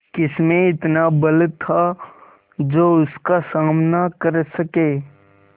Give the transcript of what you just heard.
किसमें इतना बल था जो उसका सामना कर सके